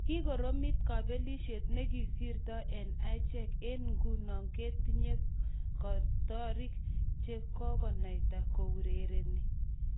Kikoromit kobelisiet ne kisirtoi eng achek ..eng nguno kentinye kotiorik che kikonaita kourereni,"